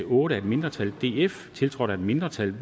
otte af et mindretal tiltrådt af et mindretal